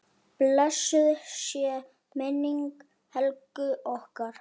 Blessuð sé minning Helgu okkar.